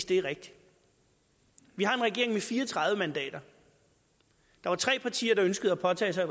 det er rigtigt vi har en regering med fire og tredive mandater der var tre partier der ønskede at påtage sig